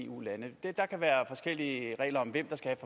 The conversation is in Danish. eu lande der kan være forskellige regler om hvem der skal